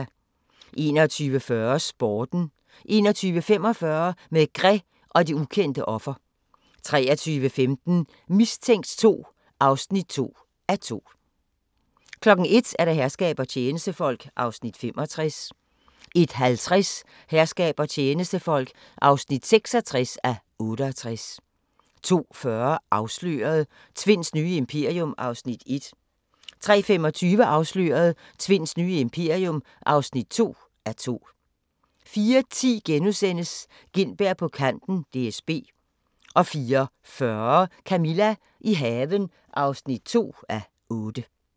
21:40: Sporten 21:45: Maigret og det ukendte offer 23:15: Mistænkt 2 (2:2) 01:00: Herskab og tjenestefolk (65:68) 01:50: Herskab og tjenestefolk (66:68) 02:40: Afsløret – Tvinds nye imperium (1:2) 03:25: Afsløret – Tvinds nye imperium (2:2) 04:10: Gintberg på kanten - DSB * 04:40: Camilla – i haven (2:8)